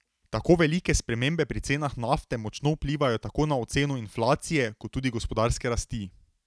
Tako velike spremembe pri cenah nafte močno vplivajo tako na oceno inflacije kot tudi gospodarske rasti.